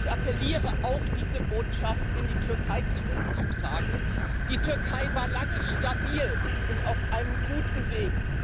Ich appelliere auch, diese Botschaft in die Türkei zurückzutragen Die Türkei war lange stabil und auf einem guten Weg.